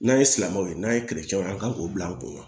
N'an ye silamɛw ye n'an ye an k'o bila an kunna